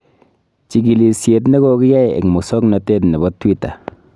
Chikilisyet ne kogiyai eng musoknotet nebo twitter